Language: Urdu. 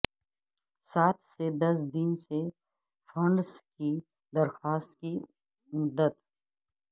سات سے دس دن سے فنڈز کی درخواست کی مدت